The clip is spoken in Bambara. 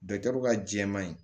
ka jɛɛma in